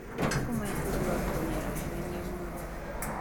Matukũ maya bundi wa nguo nĩarahenania mũno.